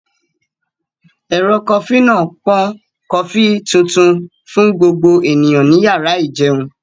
Ẹ̀rọ kofí náà ń pọn kofí tuntun fún gbogbo ènìyàn ní yàrá ìjẹun